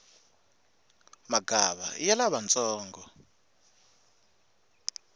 magava iya lavantsongo